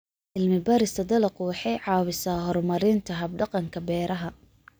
Cilmi-baarista dalaggu waxay caawisaa horumarinta hab-dhaqanka beeraha.